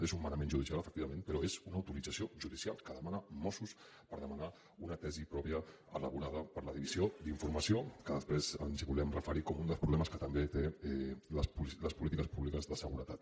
és un manament judicial efectivament però és una autorització judicial que demana mossos per demanar una tesi pròpia elaborada per la divisió d’informació que després ens hi volem referir com un dels problemes que també tenen les polítiques públiques de seguretat